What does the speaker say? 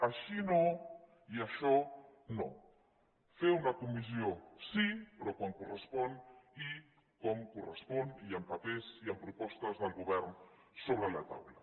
així no i això no fer una comissió sí però quan correspon i com correspon i amb papers i amb propostes del govern sobre la taula